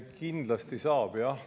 Kindlasti saab!